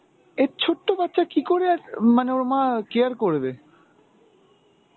এই ছোট্ট বাচ্চা কীকরে এক~ মানে ওর মা care করবে?